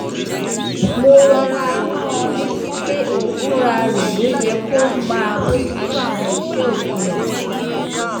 mo rọra rán an létí pé òun fúnra rẹ̀ ló yẹ kó máa bójú tó àwọn iṣẹ́ òpin ọ̀sẹ̀